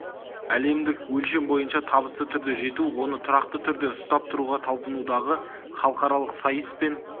әлемдік өлшем бойынша табысты түрде жету оны тұрақты түрде ұстап тұруға талпынудағы халықаралық сайыс пен